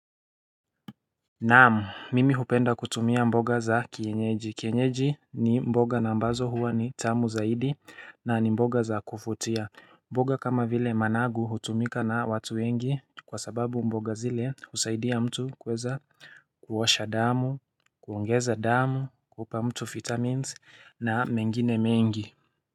Naam mimi hupenda kutumia mboga za kienyeji. Kienyeji ni mboga na ambazo huwa ni tamu zaidi na ni mboga za kuvutia mboga kama vile managu hutumika na watu wengi kwasababu mboga zile husaidia mtu kweza kuosha damu kuongeza damu kupa mtu vitamins na mengine mengi.